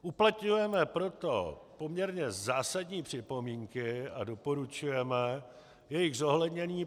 Uplatňujeme proto poměrně zásadní připomínky a doporučujeme jejich zohlednění.